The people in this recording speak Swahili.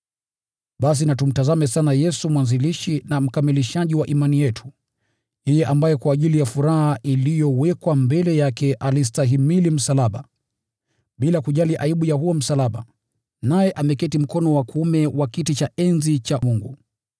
Basi na tumtazame sana Yesu mwanzilishi na mkamilishaji wa imani yetu, yeye ambaye kwa ajili ya furaha iliyowekwa mbele yake alistahimili msalaba, bila kujali aibu ya huo msalaba, naye ameketi mkono wa kuume wa kiti cha enzi cha Mungu.